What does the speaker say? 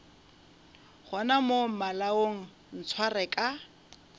gona mo malaong ntshware ka